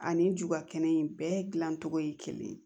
Ani juba kɛnɛ in bɛɛ dilan cogo ye kelen ye